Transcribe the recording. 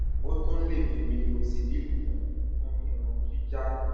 o tún lè fi minoxidil kún un fún irun jíjá